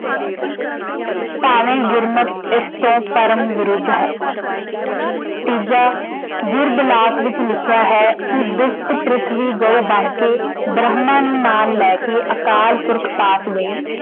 ਭਾਵੇਂ ਗੁਰਮਤਿ ਇਸ ਤੋਂ ਧਰਮ ਵਿਰੁੱਧ ਹੈ। ਤੀਜਾ, ਵਿੱਚ ਲਿਖਿਆ ਹੈ ਕਿ ਦੁਖਤ ਪਿ੍ਥਵੀ ਗਊ ਬਣ ਕੇ ਬ੍ਰਹਮਾ ਨੂੰ ਨਾਲ ਲੈ ਕੇ ਅਕਾਲ ਪੁਰਖ ਪਾਸ ਗਈ।